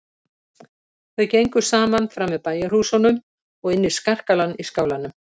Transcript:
Þau gengu saman fram með bæjarhúsunum og inn í skarkalann í skálanum.